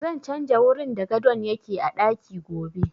Zan canja wurin da gadon yake a ɗaki gobe